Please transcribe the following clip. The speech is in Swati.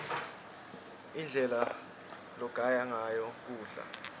indlela logaya ngayo kudla